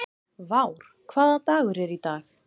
Vár, hvaða dagur er í dag?